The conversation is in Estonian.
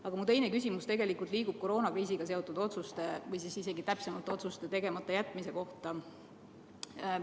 Aga mu teine küsimus on koroonakriisiga seotud otsuste, täpsemalt isegi otsuste tegemata jätmise kohta.